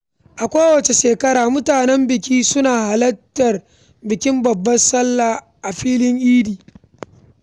A kowace shekara, mutanen gari suna halartar bikin Babbar Sallah a filin idi.